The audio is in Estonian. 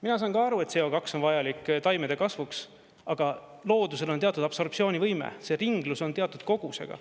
Mina saan ka aru, et CO2 on vajalik taimede kasvuks, aga loodusel on teatud absorptsioonivõime, see ringlus on teatud kogusega.